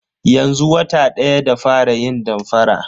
Yanzu wata daya da fara yin damfara.